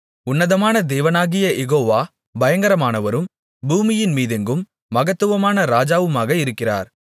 உன்னதமான தேவனாகிய யெகோவா பயங்கரமானவரும் பூமியின் மீதெங்கும் மகத்துவமான ராஜாவுமாக இருக்கிறார்